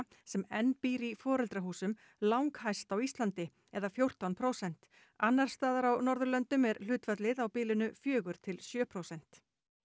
sem enn býr í foreldrahúsum langhæst á Íslandi eða fjórtán prósent annars staðar á Norðurlöndum er hlutfallið á bilinu fjögur til sjö prósent